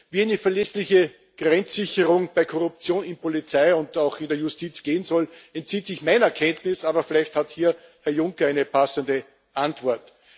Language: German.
Wie eine verlässliche Grenzsicherung bei Korruption in der Polizei und auch in der Justiz gehen soll, entzieht sich meiner Kenntnis, aber vielleicht hat hier Herr Juncker eine passende Antwort.